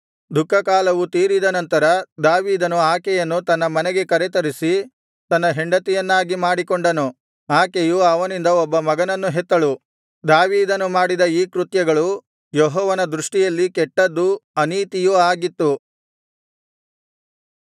ದುಃಖಕಾಲವು ತೀರಿದ ನಂತರ ದಾವೀದನು ಆಕೆಯನ್ನು ತನ್ನ ಮನೆಗೆ ಕರತರಿಸಿ ತನ್ನ ಹೆಂಡತಿಯನ್ನಾಗಿ ಮಾಡಿಕೊಂಡನು ಆಕೆಯು ಅವನಿಂದ ಒಬ್ಬ ಮಗನನ್ನು ಹೆತ್ತಳು ದಾವೀದನು ಮಾಡಿದ ಈ ಕೃತ್ಯಗಳು ಯೆಹೋವನ ದೃಷ್ಟಿಯಲ್ಲಿ ಕೆಟ್ಟದ್ದೂ ಅನೀತಿಯೂ ಆಗಿತ್ತು